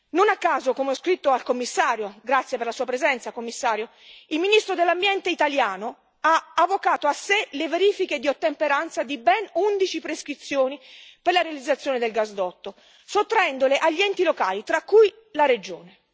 Non a caso, come ho scritto al Commissario, che ringrazio per la sua presenza, il ministro dell'Ambiente italiano ha avvocato a sé le verifiche di ottemperanza di ben undici prescrizioni per la realizzazione del gasdotto, sottraendole agli enti locali, tra cui la Regione.